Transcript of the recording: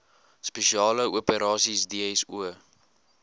spesiale operasies dso